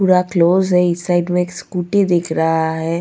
पूरा क्लोज है इस साइड में एक स्कूटी दिख रहा है.